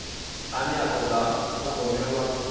ane a toda u thogomelwa